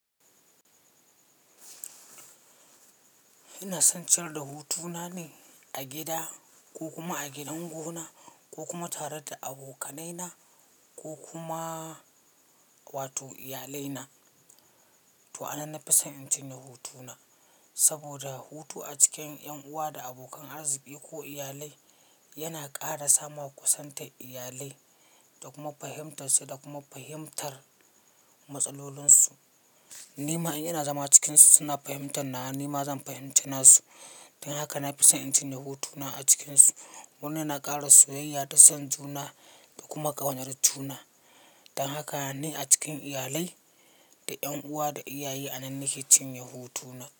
Ina son ciyar da hutu na ne a gida ko kuma a gidan gonar ko kuma tare da abokanai na ko kuma, wato iyalai na. To a nan na fi son in cinye hutu na. Saboda, hutu a cikin ƴan uwa da abokan arziki ko iyalai, yana ƙara samawa kusantar iyalai, da kuma fahimtarsu da kuma fahimtar matsalolinsu. Ni ma in ina zama cikinsu suna fahimtar nawa, ni ma zan fahimci nasu. Don haka na fi son in cinye hutu na a cikinsu. Wannan na ƙara soyayya da son juna, da kuma ƙaunar juna. Don haka ni a cikin iyalai, da 'ƴan uwa da iyaye a nan ne ke cinye hutu na.